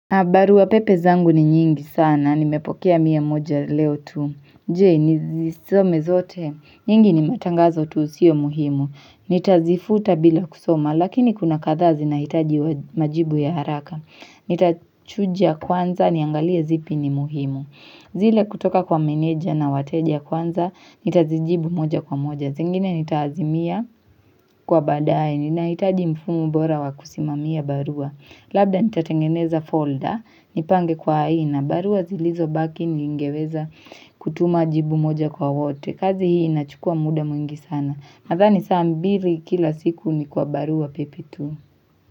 Barua pepe zangu ni nyingi sana, nimepokea mia moja leo tu. Je, nizisome zote? Nyingi ni matangazo tu sio muhimu. Nitazifuta bila kusoma, lakini kuna kadhaa zinahitaji majibu ya haraka. Nitachuja kwanza, niangalia zipi ni muhimu. Zile kutoka kwa meneja na wateja kwanza, nitazijibu moja kwa moja. Zingine nitazimia kwa baadaye, ninahitaji mfumo bora wa kusimamia barua. Labda nitatengeneza folder, nipange kwa aina, barua zilizobaki ningeweza kutuma jibu moja kwa wote, kazi hii inachukua muda mwingi sana, nadhani saa mbili kila siku ni kwa barua pepe tu.